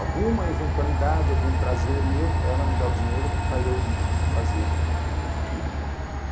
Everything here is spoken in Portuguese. Alguma eventualidade, algum prazer meu, ela me dá o dinheiro para eu ir fazer aquilo.